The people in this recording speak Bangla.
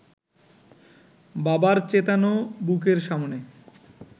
বাবার চেতানো বুকের সামনে